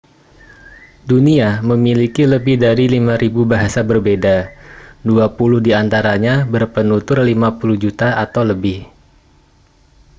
dunia memiliki lebih dari 5.000 bahasa berbeda dua puluh di antaranya berpenutur 50 juta atau lebih